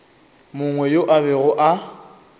mongwe yo a bego a